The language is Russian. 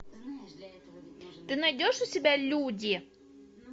ты найдешь у себя люди